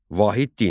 Vahid din.